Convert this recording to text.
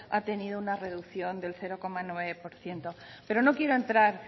ha tenido una reducción del cero coma nueve por ciento pero no quiero entrar